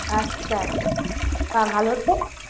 আচ্ছা বাহ ভালো তো